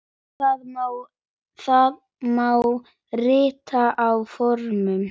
Það má rita á forminu